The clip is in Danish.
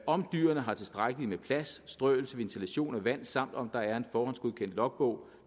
om dyrene har tilstrækkeligt med plads strøelse ventilation og vand samt om der er en forhåndsgodkendt logbog